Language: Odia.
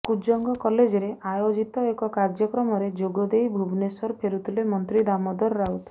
କୁଜଙ୍ଗ କଲେଜରେ ଆୟୋଜିତ ଏକ କାର୍ଯ୍ୟକ୍ରମରେ ଯୋଗ ଦେଇ ଭୁବନେଶ୍ୱର ଫେରୁଥିଲେ ମନ୍ତ୍ରୀ ଦାମୋଦର ରାଉତ